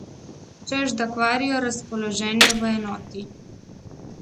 Češ da kvarijo razpoloženje v enoti.